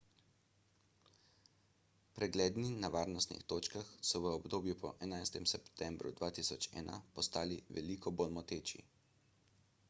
pregledi na varnostnih točkah so v obdobju po 11 septembru 2001 postali veliko bolj moteči